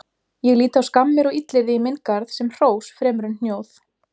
Ég lít á skammir og illyrði í minn garð sem hrós fremur en hnjóð.